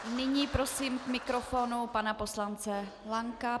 Nyní prosím k mikrofonu pana poslance Lanka.